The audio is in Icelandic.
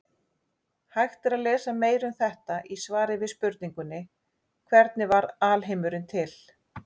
Hægt er að lesa meira um þetta í svari við spurningunni Hvernig varð alheimurinn til?